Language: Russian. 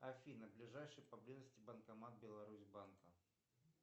афина ближайший поблизости банкомат беларусьбанка